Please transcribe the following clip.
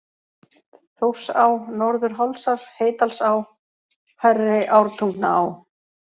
Þórsá, Norður-Hálsar, Heydalsá, Hærri-Ártungnaá